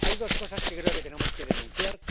Hay dos cosas que creo que tenemos que denunciar.